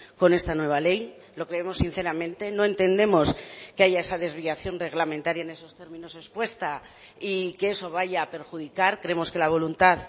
con esta nueva ley lo creemos sinceramente no entendemos que haya esa desviación reglamentaria en esos términos expuesta y que eso vaya a perjudicar creemos que la voluntad